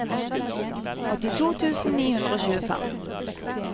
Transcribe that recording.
åttito tusen ni hundre og tjuefem